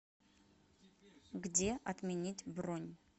где отменить бронь